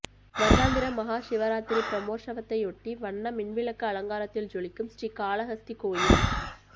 வருடாந்திர மகா சிவராத்திரி பிரமோற்சவத்தையொட்டி வண்ண மின்விளக்கு அலங்காரத்தில் ஜொலிக்கும் ஸ்ரீகாளஹஸ்தி கோயில்